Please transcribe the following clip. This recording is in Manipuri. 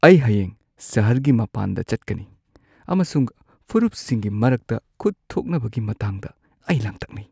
ꯑꯩ ꯍꯌꯦꯡ ꯁꯍꯔꯒꯤ ꯃꯄꯥꯟꯗ ꯆꯠꯀꯅꯤ ꯑꯃꯁꯨꯡ ꯐꯨꯔꯨꯞꯁꯤꯡꯒꯤ ꯃꯔꯛꯇ ꯈꯨꯠ ꯊꯣꯛꯅꯕꯒꯤ ꯃꯇꯥꯡꯗ ꯑꯩ ꯂꯥꯡꯇꯛꯅꯩ ꯫